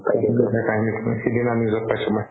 সিদিনা news ত পাইছো মই